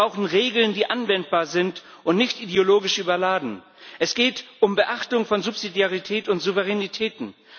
Wir brauchen Regeln, die anwendbar sind und nicht ideologisch überladen. Es geht um Beachtung von Subsidiarität und Souveränitäten.